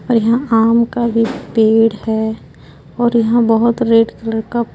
और यहाँ आम का भी पेड़ है और यहाँ बोहोत रेड कलर का --